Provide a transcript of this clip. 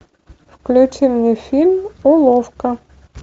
включи мне фильм уловка